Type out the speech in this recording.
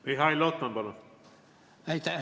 Mihhail Lotman, palun!